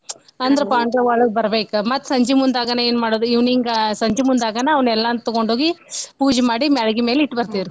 ಅಂದ್ರ ಪಾಂಡವ್ರ್ ಒಳಗ್ ಬರ್ಬೇಕ ಮತ್ತ್ ಸಂಜೀಮುಂದಾಗನ ಏನ್ ಮಾಡೋದು evening ಸಂಜೀಮುಂದಾಗನ ಅವ್ನೆಲ್ಲನು ತಗೊಂಡ್ ಹೋಗಿ ಪೂಜಿ ಮಾಡಿ ಮ್ಯಾಳ್ಗಿ ಮ್ಯಾಲೆ ಇಟ್ ಬರ್ತೆವ್ ರಿ.